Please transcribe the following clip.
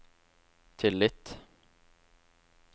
tillit